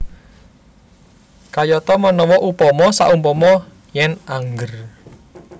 Kayata manawa upama saumpama yèn angger